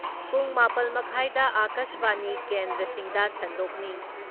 ꯄꯨꯡ ꯃꯥꯄꯜ ꯃꯈꯥꯏꯗ ꯑꯀꯥꯁꯕꯥꯅꯤ ꯀꯦꯟꯗ꯭ꯔꯁꯤꯡꯗ ꯁꯟꯗꯣꯛꯅꯤ ꯫